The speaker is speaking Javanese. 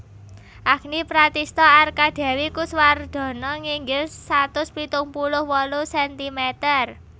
Agni Pratistha Arkadewi Kuswardono nginggil satus pitung puluh wolu sentimeter